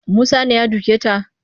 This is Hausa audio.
Musa ne ya doke ta